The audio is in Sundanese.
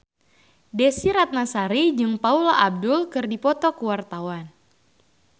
Desy Ratnasari jeung Paula Abdul keur dipoto ku wartawan